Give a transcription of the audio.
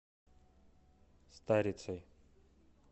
старицей